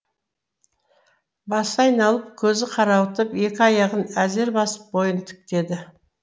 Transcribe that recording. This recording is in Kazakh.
басы айналып көзі қарауытып екі аяғын әзер басып бойын тіктеді